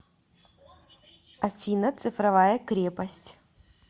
афина цифровая крепость